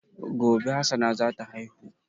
Gobe Hassana zata haihu